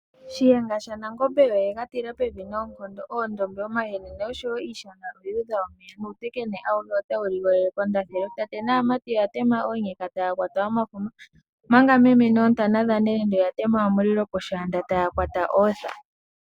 Shiyenga shaNangombe oye ga tila pevi noonkondo, oondombe, omahenene noshowo iishana oyu udha omeya nuutekene awuhe otawu ligolele kondathelo. Tate naamati oya tema oonyeka taya kwata omafuma omanga meme noontana dhanelenge oya tema omulilo poshaanda taya kwata ootha.